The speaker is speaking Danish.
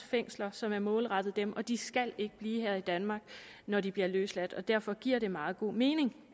fængsler som er målrettet dem og de skal ikke blive her i danmark når de bliver løsladt og derfor giver det meget god mening